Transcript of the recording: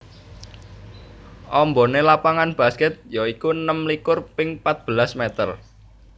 Ambané lapangan baskèt ya iku enem likur ping patbelas mèter